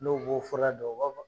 N'o b'o fɔra don, o b'a ban.